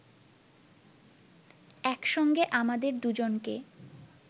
একসঙ্গে আমাদের দুজনকে